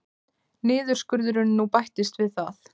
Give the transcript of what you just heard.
Niðurskurðurinn nú bætist við það